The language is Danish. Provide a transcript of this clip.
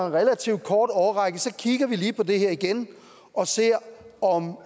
en relativt kort årrække kigger vi lige på det her igen og ser om